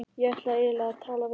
Ég ætti eiginlega að tala við